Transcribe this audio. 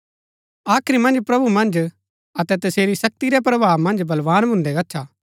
आखिर मन्ज प्रभु मन्ज अतै तसेरी शक्ति रै प्रभाव मन्ज बलवान भून्दै गच्छा